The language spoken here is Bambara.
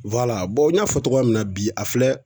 n y'a fɔ cogoya min na bi a filɛ